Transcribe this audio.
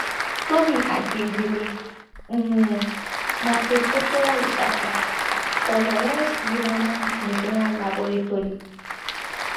tomi akindele um na postdoctoral researcher for lawrence livermore national laboratory